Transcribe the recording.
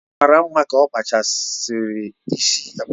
Ọ mara mma ka okpachara isi patewo